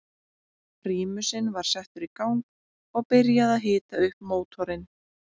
Prímusinn var settur í gang og byrjað að hita upp mótorinn.